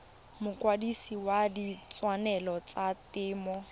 mokwadise wa ditshwanelo tsa temo